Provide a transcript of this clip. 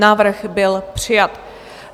Návrh byl přijat.